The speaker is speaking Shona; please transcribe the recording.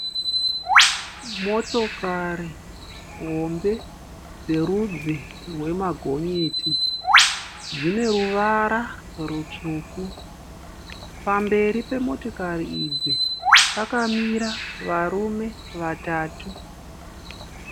Motokari hombe dzerudzi rwemagonyeti. Dzine ruvara rutsvuku. Pamberi pemotokari idzi pakamira varume vatatu.